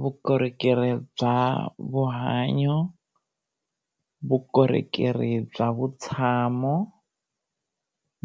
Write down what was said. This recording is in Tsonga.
Vukorhokeri bya vuhanyo, vukorhokeri bya vutshamo,